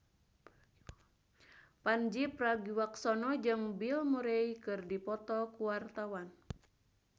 Pandji Pragiwaksono jeung Bill Murray keur dipoto ku wartawan